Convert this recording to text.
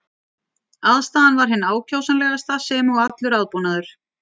Aðstaðan var hin ákjósanlegasta sem og allur aðbúnaður.